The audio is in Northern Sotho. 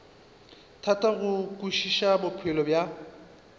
thata go kwešiša bophelo bja